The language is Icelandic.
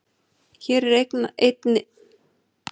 Hér er einnig svarað spurningunni: Hversu þungt er mannshjarta?